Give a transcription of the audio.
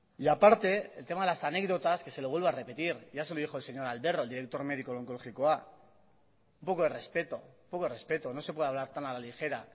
y aparte el tema de las anécdotas que se lo vuelvo a repetir ya se lo dijo el señor alberro el director médico del onkologikoa un poco de respeto un poco de respeto no se puede hablar tan a la ligera